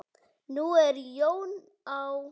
Nú er Jón á